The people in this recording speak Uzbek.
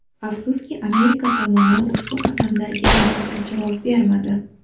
Afsuski, Amerika tomoni ushbu qadamlarga munosib javob bermadi.